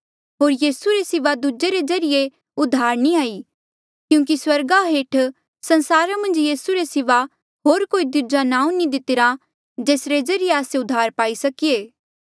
होर यीसू रे सिवा दूजे रे ज्रीए उधार नी हाई क्यूंकि स्वर्गा हेठ संसारा मन्झ यीसू रे सिवा होर कोई दूजा नांऊँ नी दितिरा जेसरे ज्रीए आस्से उद्धार पाई सकीऐ